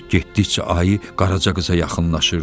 Getdikcə ayı Qaraca qıza yaxınlaşırdı.